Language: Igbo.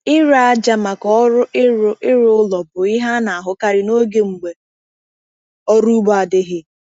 Ire aja maka ọrụ ịrụ ịrụ ụlọ bụ ihe a na-ahụkarị n’oge mgbe ọrụ ugbo adịghị.